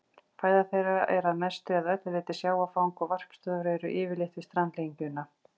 Fæða þeirra er að mestu eða öllu leyti sjávarfang og varpstöðvar eru yfirleitt við strandlengjuna.